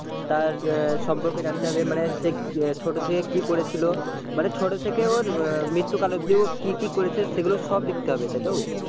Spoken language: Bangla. তার সম্পর্কে জানতে হবে মানে সে ছোট থেকে কি করেছিল, মানে ছোট থেকে ওর মৃত্যুকাল অব্দি ও কি কি করেছে সেগুলো সব লিখতে হবে। তাইতো?